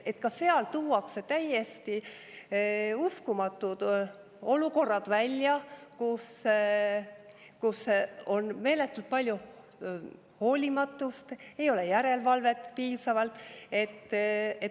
Ka selles tuuakse välja täiesti uskumatud olukorrad, kus on meeletult palju hoolimatust, ei ole piisavalt järelevalvet.